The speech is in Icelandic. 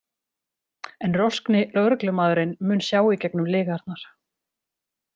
En roskni lögreglumaðurinn mun sjá í gegnum lygarnar.